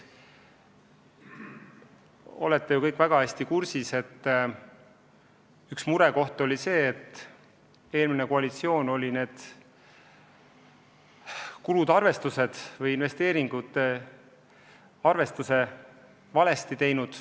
Aga te olete ju kõik väga hästi kursis, et üks murekoht on see, et eelmine koalitsioon arvestas sellega seotud kulud valesti.